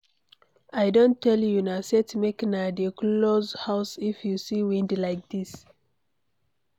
I don tell una set make na dey close house if you see wind like dis